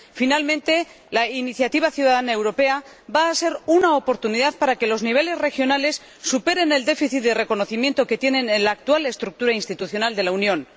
Finalmente, la iniciativa ciudadana europea va a ser una oportunidad para que los niveles regionales superen el déficit de reconocimiento que tienen en la actual estructura institucional de la Unión.